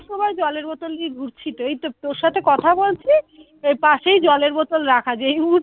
সব সময় জলের বোতল নিয়ে ঘুরছি তো এইতো তোর সাথে কথা বলছি পাশেই জলের বোতল রাখা যে মুহূর্তে